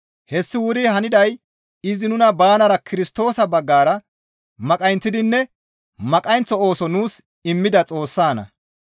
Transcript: Hessi wuri haniday izi nuna banara Kirstoosa baggara maqayinththidinne maqayinththo ooso nuus immida Xoossanna.